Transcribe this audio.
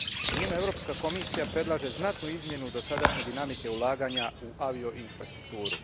U njima Europska komisija predlaže znatnu izmjenu dosadašnje dinamike ulaganja u avioinfrastrukturu.